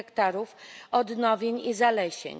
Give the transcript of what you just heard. hektarów odnowień i zalesień.